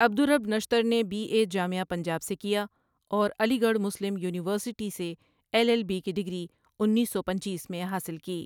عبدالرب نشتر نے B A جامعہ پنجاب سے کیا اور علی گڑھ مسلم یونیورسٹی سے ایل ایل بی کی ڈگری انیس سو پنچیس میں حاصل کی ۔